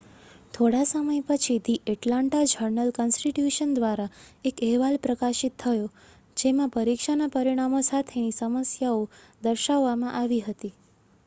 થોડા સમય પછી ધી એટલાન્ટા જર્નલ-કન્સ્ટિટ્યુશન દ્વારા એક અહેવાલ પ્રકાશિત થયો જેમાં પરીક્ષાના પરિણામો સાથેની સમસ્યાઓ દર્શાવવામાં આવી હતી